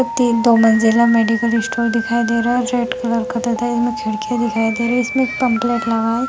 तीन तो मंजिल है मेडिकल स्टोर दिखाई दे रहा है रेंड कलर का इसमें खिड़कियाँ दिखाई दे रही है इसमें एक पम्पलेट लगा है।